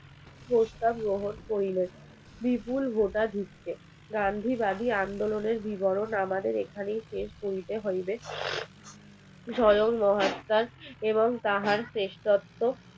স্বয়ং মহাত্মার এবং তার শ্রেষ্ঠত্ব